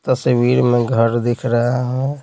तस्वीर में घर दिख रहा है।